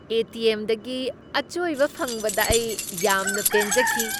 ꯑꯦ. T. M. ꯗꯒꯤ ꯑꯆꯣꯏꯕ ꯐꯪꯕꯗ ꯑꯩ ꯌꯥꯝꯅ ꯄꯦꯟꯖꯈꯤ ꯫